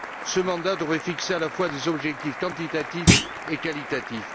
Ce mandat devrait fixer à la fois des objectifs quantitatifs et qualitatifs.